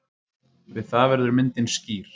Við það verður myndin skýr.